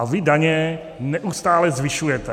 A vy daně neustále zvyšujete.